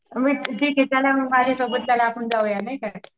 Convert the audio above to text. मग ठीक ये चला मग माझ्या सोबत चला आपण जाऊया नाही का.